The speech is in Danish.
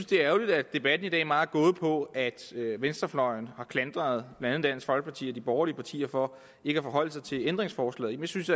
det er ærgerligt at debatten i dag meget er gået på at venstrefløjen har klandret blandt andet dansk folkeparti og de borgerlige partier for ikke at forholde sig til ændringsforslaget jeg synes